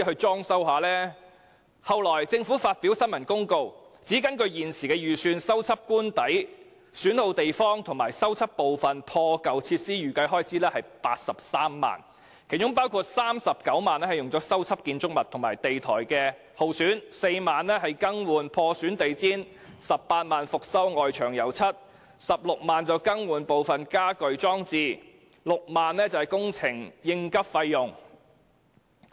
政府其後發表新聞公告，指根據預算，修繕官邸損耗地方和破舊設施的預計開支是83萬元，當中39萬元用作修繕建築物和地台、4萬元用作更換地毯、18萬元用作翻新外牆、16萬元用作更換家居裝置，以及6萬元用作工程應急費用。